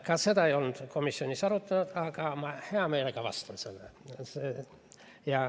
Ka seda komisjonis ei arutatud, aga ma hea meelega vastan sellele.